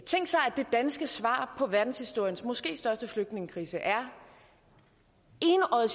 det danske svar på verdenshistoriens måske største flygtningekrise er enøjet